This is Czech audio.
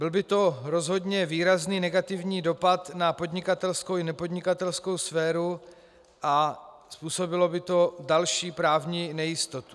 Byl by to rozhodně výrazný negativní dopad na podnikatelskou i nepodnikatelskou sféru a způsobilo by to další právní nejistotu.